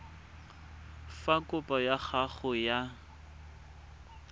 fa kopo ya gago ya